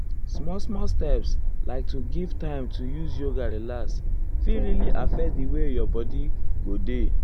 small small steps like to give time to use yoga relax fit really affect di way your bodi bodi go dey.